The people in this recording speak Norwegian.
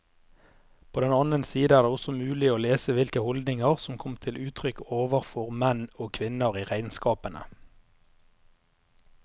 På den annen side er det også mulig å lese hvilke holdninger som kom til uttrykk overfor menn og kvinner i regnskapene.